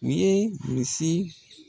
U ye misi